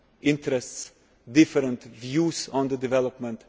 interests, different views on development.